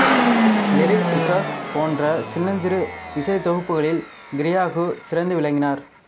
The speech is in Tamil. லிரிக் பீசஸ் போன்ற சின்னஞ்சிறு இசைத்தொகுப்புக்களில் கிரெய்கு சிறந்து விளங்கினார்